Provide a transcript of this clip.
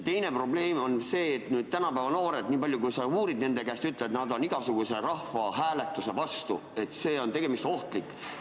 Teine probleem on see, et tänapäeva noored, niipalju kui sa uurid nende käest, ütlevad, et nad on igasuguse rahvahääletuse vastu, et see on ohtlik.